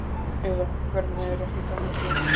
Eða, hvernig er ekki gamla þjóðvísan?